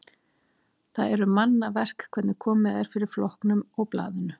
Það eru manna verk hvernig komið er fyrir flokknum og blaðinu.